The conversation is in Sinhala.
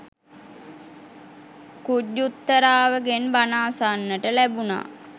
ඛුජ්ජුත්තරාවගෙන් බණ අසන්නට ලැබුනා